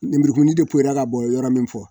Lemurukumuni de ka bɔn yɔrɔ min fɔ